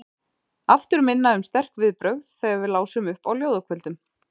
Aftur minna um sterk viðbrögð þegar við lásum upp á ljóðakvöldum.